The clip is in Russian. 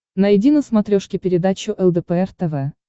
найди на смотрешке передачу лдпр тв